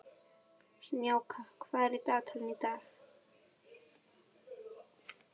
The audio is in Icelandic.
Snjáka, hvað er í dagatalinu í dag?